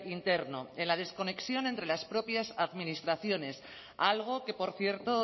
interno en la desconexión entre las propias administraciones algo que por cierto